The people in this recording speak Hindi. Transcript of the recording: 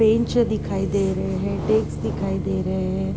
बेंच दिखाई दे रहें है। डेक्स दिखई दे रहे हैं |